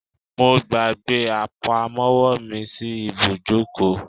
I forgot my purse at the garage